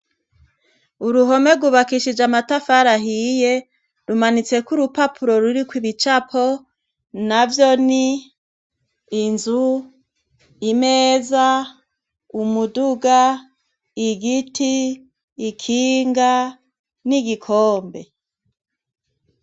Uruhome rwubakishije amatafari ahiye ,rumanitseko urupapuro ruriko ibicapo navyo ni:inzu ,imeza, umuduga, igiti, ikinga, n'igikombe.